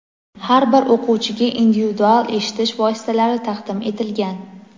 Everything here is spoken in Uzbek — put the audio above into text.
har bir o‘quvchiga individual eshitish vositalari taqdim etilgan.